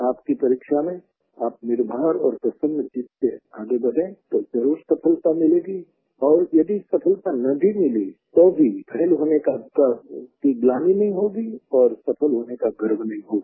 आपकी परीक्षा में आप निर्भार और प्रसन्नचित्त आगे बढ़ें तो ज़रूर सफलता मिलेगी और यदि सफलता न भी मिली तो भी फैल होने की ग्लानि नहीं होगी और सफल होने का गर्व भी होगा